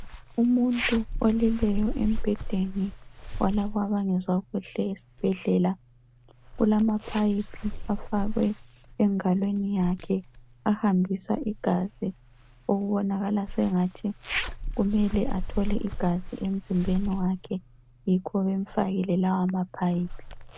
Umuntu oleleyo embhedeni walaba abangezwa kuhle esibhedlela. Kulama phayiphi afakwe engalweni yakhe ahambisa igazi okubonakala sengathi kumele athole igazi emzimbeni wakhe, yikho bemfakile lawa maphayiphi.